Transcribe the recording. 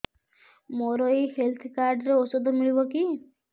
ମୋର ଏଇ health card ରେ ଔଷଧ ମିଳିବ କି